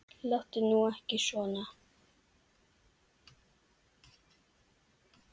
Láttu nú ekki svona.